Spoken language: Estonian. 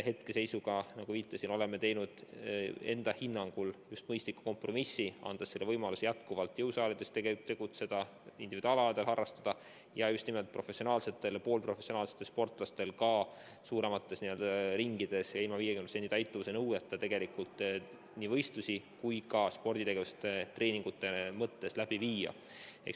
Hetkeseisuga, nagu viitasin, oleme teinud enda hinnangul mõistliku kompromissi, andes võimaluse jätkuvalt jõusaalides tegutseda, individuaalalasid harrastada ja just nimelt professionaalsetel või poolprofessionaalsetel sportlastel ka suuremates gruppides ja ilma 50% täitumuse nõudeta nii võistlusi kui treeninguid läbi viia.